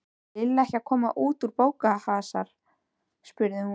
Er Lilla ekki að koma út í bófahasar? spurði hún.